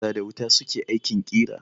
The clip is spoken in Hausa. Makera da wuta su ke aikin kira.